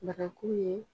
Barakulu ye